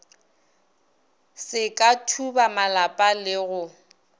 se ka thubamalapa le go